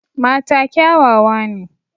Mata kyawawa ne.